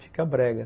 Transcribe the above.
Fica brega.